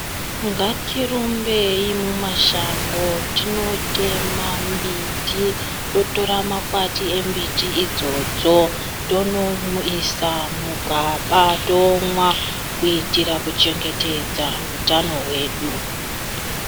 Ngatirumbei mumashango tinotema mbiti totora makwati embiti idzodzo tonoisa mugaba tomwa kuitira kuchengetedza utano hwedu.